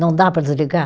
Não dá para desligar?